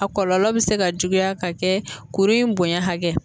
A kɔlɔlɔ bɛ se ka juguya ka kɛ kuru in bonya hakɛ.